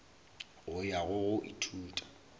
go ya go go ithuta